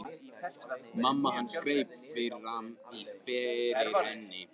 Mamma hans greip fram í fyrir henni.